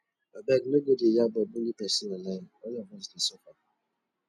abeg no go dey yab or bully pesin online all of us dey suffer